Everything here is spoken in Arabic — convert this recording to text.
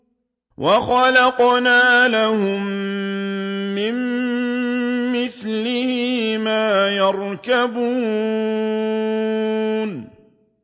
وَخَلَقْنَا لَهُم مِّن مِّثْلِهِ مَا يَرْكَبُونَ